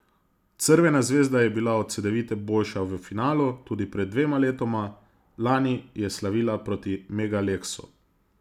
Crvena zvezda je bila od Cedevite boljša v finalu tudi pred dvema letoma, lani je slavila proti Mega Leksu.